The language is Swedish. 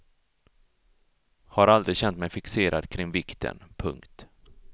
Har aldrig känt mig fixerad kring vikten. punkt